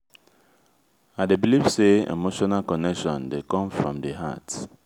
i dey believe say emotional connection dey come from di heart